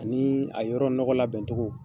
Ani a yɔrɔ nɔgɔ labɛncogo.